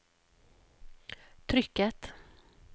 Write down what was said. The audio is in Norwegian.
trykket